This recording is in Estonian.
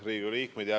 Riigikogu liikmed!